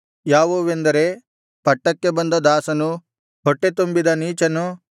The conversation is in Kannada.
ಯಾವುವೆಂದರೆ ಪಟ್ಟಕ್ಕೆ ಬಂದ ದಾಸನು ಹೊಟ್ಟೆತುಂಬಿದ ನೀಚನು